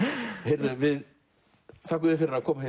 heyrðu við þökkum þér fyrir að koma